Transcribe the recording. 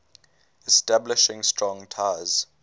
establishing strong ties